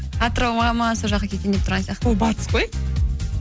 атырауға ма сол жаққа кетейін деп тұрған сияқтымын ол батыс қой